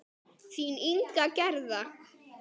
Þín Inga Gerða.